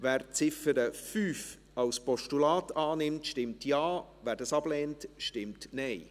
Wer die Ziffer 5 als Postulat annimmt, stimmt Ja, wer dies ablehnt, stimmt Nein.